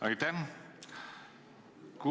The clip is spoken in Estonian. Aitäh!